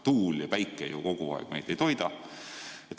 Tuul ja päike ju kogu aeg meid ei toida.